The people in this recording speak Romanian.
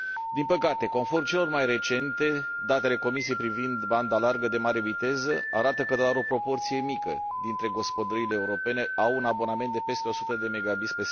Din păcate, conform celor mai recente date ale Comisiei privind banda largă de mare viteză, doar o proporție mică dintre gospodăriile europene au un abonament de peste 100 Mbps.